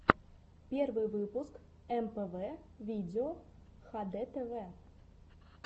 первый выпуск мпв видео хдтв